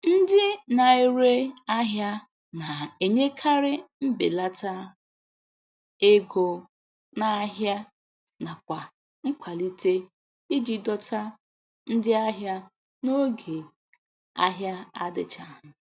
Ndị na-ere ahịa na-enyekarị Mbelata ego n'ahia nakwa nkwalite iji dọta ndị ahịa n'oge ahia adichaghi.